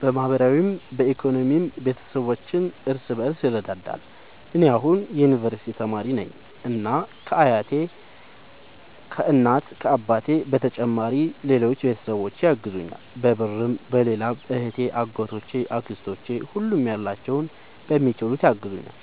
በማህበራዊም በኢኮኖሚም ቤተሰባችን እርስ በርስ ይረዳዳል። እኔ አሁን የዩንቨርስቲ ተማሪ ነኝ እና ከ እናት አባቴ በተጨማሪ ሌሎች ቤተሰቦቼ ያግዙኛል በብርም በሌላም እህቴ አጎቶቼ አክስቶቼ ሁሉም ያላቸውን በሚችሉት ያግዙኛል።